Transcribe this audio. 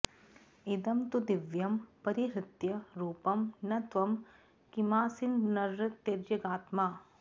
इदं तु दिव्यं परिहृत्य रूपं न त्वं किमासीर्नरतिर्यगात्मा